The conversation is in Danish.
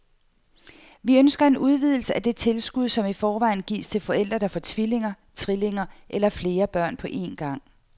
Vi ønsker en udvidelse af det tilskud, som i forvejen gives til forældre, der får tvillinger, trillinger eller flere børn på en gang.